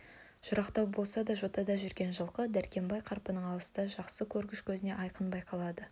жырақтау болса да жотада жүрген жылқы дәркембай қарпың алысты жақсы көргіш көзіне айқын байқалды